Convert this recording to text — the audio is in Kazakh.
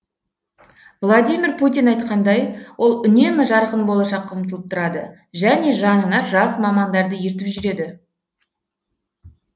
владимир путин айтқандай ол үнемі жарқын болашаққа ұмтылып тұрады және жанына жас мамандарды ертіп жүреді